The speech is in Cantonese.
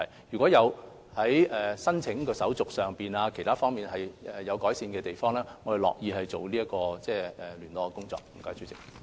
如果在申請手續或其他方面有需要改善的地方，我們樂意進行聯絡工作。